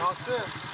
Nasır.